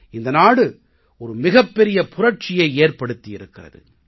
இந்த நாடு ஒரு மிகப் பெரிய புரட்சியை ஏற்படுத்தி இருக்கிறது